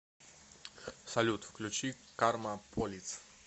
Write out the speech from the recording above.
салют включи карма полис